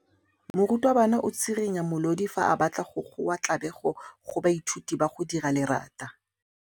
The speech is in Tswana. Morutwabana o tswirinya molodi fa a batla go goa tlabego go baithuti ba go dira lerata.